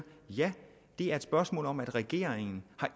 ja det er et spørgsmål om at regeringen